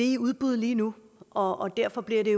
i udbud lige nu og derfor bliver det